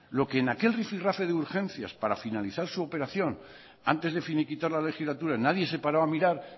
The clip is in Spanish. lo que en aquel rifi rafe de urgencias para finalizar su operación antes de finiquitar la legislatura nadie se paró a mirar